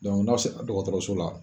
Dɔnku n'aw se la dɔgɔtɔrɔso la